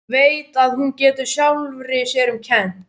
Veit að hún getur sjálfri sér um kennt.